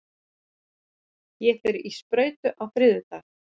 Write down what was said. Ég fer í sprautu á þriðjudag.